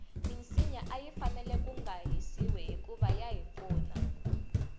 minsinya ayi fanele kunga hisiwi hikuva yahi pfuna